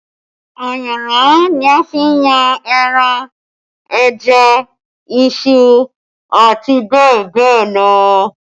Ayanran ni a fi n yan ẹran, ẹja, iṣu àti bẹ́ẹ̀ bẹ́ẹ̀ lọ